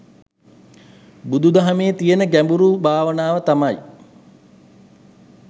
බුදු දහමේ තියන ගැඹුරු භාවනාව තමයි